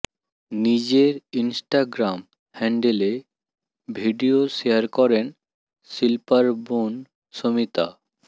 নিজের ইনস্টাগ্রাম হ্যান্ডেলে video share করেন শিল্পার বোন শমিতা